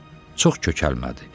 amma çox kökəlmədi.